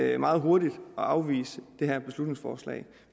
er meget hurtigt at afvise det her beslutningsforslag